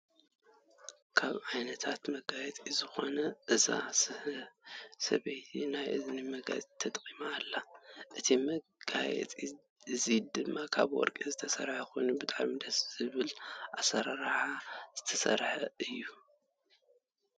ካብ ዓይነታት መጋየፂ ዝኮና እዛ ሰበይቲ ናይ እዝኒ መጋየፂ ተጠቂማ ኣላ። እዚ መጋየፂ እዚ ድማ ካብ ወርቂ ዝተሰረሐ ኮይኑ ብጣዕሚ ደስ ዝብል ኣሰራርሓ ዝተሰርሐ እዩ።